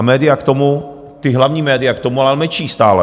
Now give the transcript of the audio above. A média k tomu, ta hlavní média k tomu ale mlčí stále.